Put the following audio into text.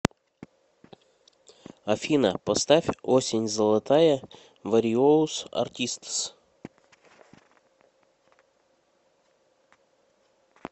афина поставь осень золотая вариоус артистс